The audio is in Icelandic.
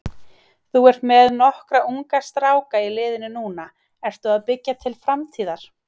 Þú ert með nokkra unga stráka í liðinu núna, ertu að byggja til framtíðar?